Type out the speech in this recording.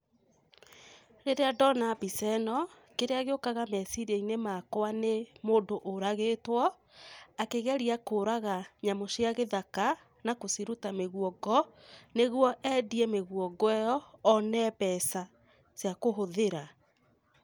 Rĩrĩa ndona mbica ĩno, kĩrĩa gĩũkaga meciria-inĩ makwa nĩ mũndũ ũragĩtwo, akĩgeria kũraga nyamũ cia gĩthaka na gũciruta mĩguongo, nĩguo endie mĩguongo ĩyo, one mbeca ciakũhũthĩra.